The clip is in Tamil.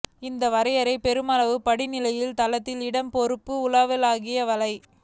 இந்த வரையறை பெருமளவு படிநிலையில் தளத்தின் இடம் பொறுப்பு உலகளாவிய வலை